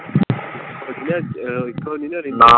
ਓਹੀ ਨਾ ਇੱਕੋ ਨਹੀਂ ਨਾ ਰਹਿੰਦੇ ਨਾ।